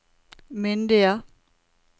myndige